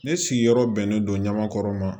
Ne sigiyɔrɔ bɛnnen don ɲamakɔrɔ ma